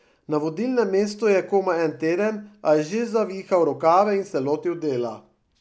Na vodilnem mestu je komaj en teden, a je že zavihal rokave in se lotil dela.